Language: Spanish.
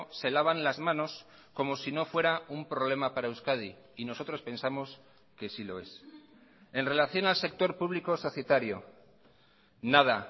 se lavan las manos como si no fuera un problema para euskadi y nosotros pensamos que sí lo es en relación al sector público societario nada